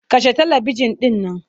Kashe talibijin ɗin nan.